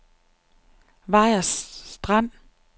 Vejers Strand